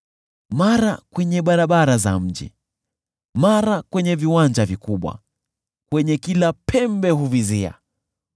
mara kwenye barabara za mji, mara kwenye viwanja vikubwa, kwenye kila pembe huvizia.)